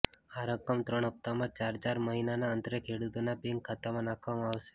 આ રકમ ત્રણ હપ્તામાં ચાર ચાર મહિનાના અંતરે ખેડૂતોના બેંક ખાતામાં નાખવામાં આવશે